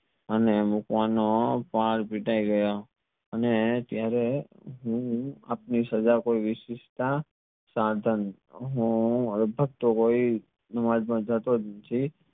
અને મૂકવાનો પર પિતાય ગયા અને ત્યરેહ હું આપની સજા કોઈ વીસીસ્થા સાધન હું જાતોજ નથી